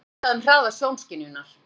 Hvað er vitað um hraða sjónskynjunar?